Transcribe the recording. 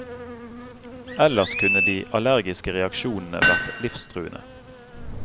Ellers kunne de allergiske reaksjonene vært livstruende.